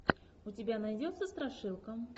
у тебя найдется страшилка